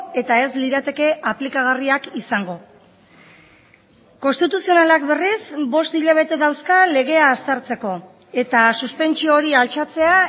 eta ez lirateke aplikagarriak izango konstituzionalak berriz bost hilabete dauzka legea aztertzeko eta suspentsio hori altxatzea